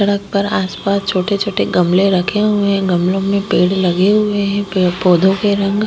सडक पर आस पास छोटे छोटे गमले रखे हुए है गमलो में पेड़ लगे हुए है पेड़ पोधो के रंग --